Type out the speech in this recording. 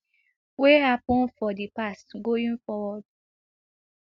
wey happun for di past going forward